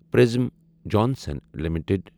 پرزٔم Johnson limited